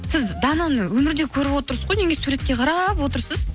сіз дананы өмірде көріп отырсыз ғой неге суретке қарап отырсыз